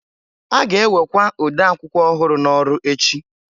A ga-ewekwa ode akwụkwọ ọhụrụ n'ọrụ echi.